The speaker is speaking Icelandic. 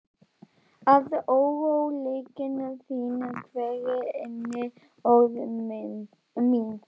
Að óróleiki þinn hverfi inní orð mín.